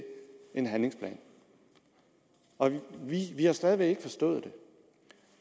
en handlingsplan og vi har stadig væk ikke forstået